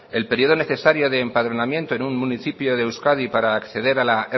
el periodo necesario de empadronamiento en un municipio de euskadi para acceder a la